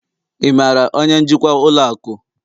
ị maara onye njikwa ụlọ akụ?